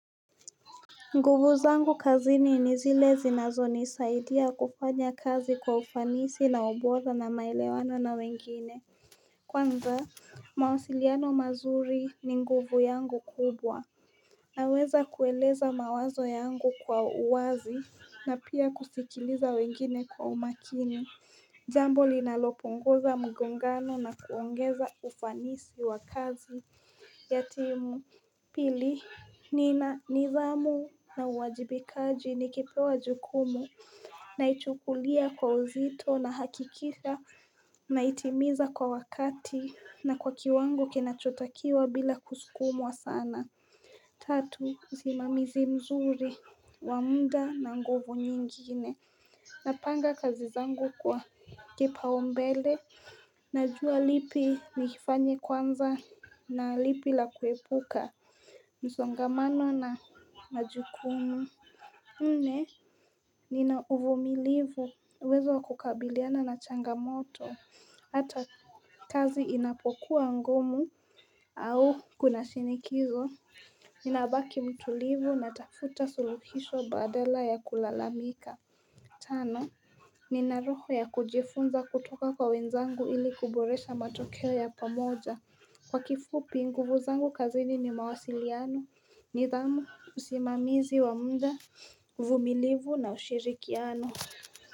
Nguvu zangu kazini ni zile zinazo nisaidia kufanya kazi kwa ufanisi na ubora na maelewano na wengine Kwanza mawasiliano mazuri ni nguvu yangu kubwa Naweza kueleza mawazo yangu kwa uwazi na pia kusikiliza wengine kwa umakini Jambo linaloponguza mgongano na kuongeza ufanisi wa kazi Yatimu Pili nina nidhamu na uwajibikaji nikipewa jukumu Naichukulia kwa uzito na hakikisha Naitimiza kwa wakati na kwa kiwango kinachotakiwa bila kusukumwa sana Tatu usimamizi mzuri wa muda na nguvu nyingine Napanga kazizangu kwa kipaombele Najua lipi nilifanye kwanza na lipi la kuepuka msongamano na majukumu nne, ninauvumilivu uwezo wakukabiliana na changamoto Hata kazi inapokuwa ngumu au kunashinikizo Ninabaki mtulivu natafuta suluhisho badala ya kulalamika Tano, nina roho ya kujifunza kutoka kwa wenzangu ili kuboresha matokeo ya pamoja, kwa kifupi nguvu zangu kazini ni mawasiliano nidhamu usimamizi wa muda uvumilifu na ushirikiano.